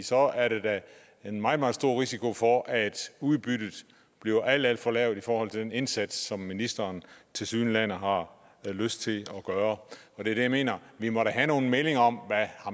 så er der da en meget meget stor risiko for at udbyttet bliver alt alt for lavt i forhold til den indsats som ministeren tilsyneladende har lyst til at gøre det er det jeg mener vi må da have nogle meninger om hvad